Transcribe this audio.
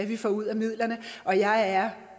vi får ud af midlerne og jeg er